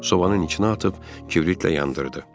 Sobanın içinə atıb kibritlə yandırdı.